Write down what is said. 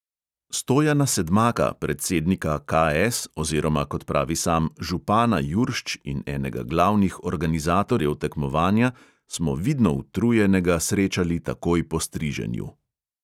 Stojana sedmaka, predsednika KS oziroma, kot pravi sam, župana juršč in enega glavnih organizatorjev tekmovanja, smo vidno utrujenega srečali takoj po striženju.